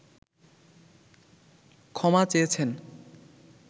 ক্ষমা চেয়েছেন